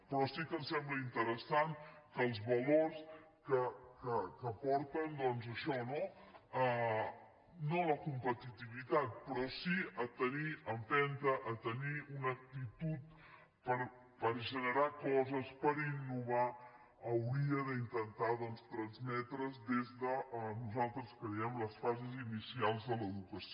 però sí que ens sembla interessant que els valors que porten doncs a això no no a la competitivitat però sí a tenir empenta a tenir una actitud per generar coses per innovar haurien d’intentar transmetre’s des de nosaltres creiem les fases inicials de l’educació